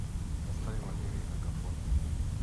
поставь валерий агафонов